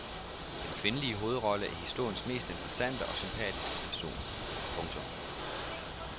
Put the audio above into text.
Den kvindelige hovedrolle er historiens mest interessante og sympatiske person. punktum